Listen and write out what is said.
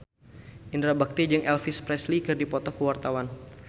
Indra Bekti jeung Elvis Presley keur dipoto ku wartawan